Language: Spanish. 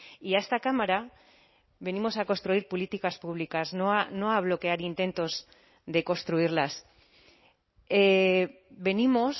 y a esta cámara venimos a construir políticas públicas no a bloquear intentos de construirlas venimos